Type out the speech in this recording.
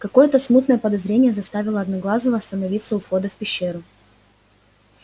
какое-то смутное подозрение заставило одноглазого остановиться у входа в пещеру